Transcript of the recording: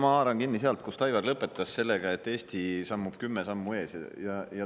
Ma haaran kinni sellest, millega Aivar lõpetas: Eesti sammub kümme sammu ees.